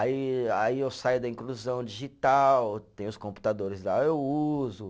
Aí aí, eu saio da inclusão digital, tem os computadores lá, eu uso.